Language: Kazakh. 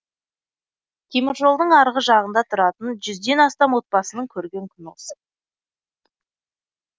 темір жолдың арғы жағында тұратын жүзден астам отбасының көрген күні осы